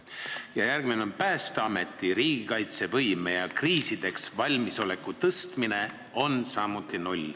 Ja järgmine selline valdkond on Päästeameti riigikaitsevõime ja kriisideks valmisoleku suurendamine – samuti null.